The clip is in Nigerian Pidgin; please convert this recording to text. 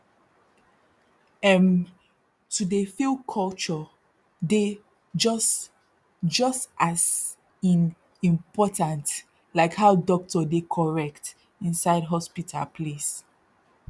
erm to dey feel culture dey jus jus as in ehimportant like how dokto dey correct inside hospital place